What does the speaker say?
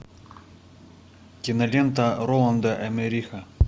кинолента роланда эммериха